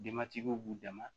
Dematigiw b'u dama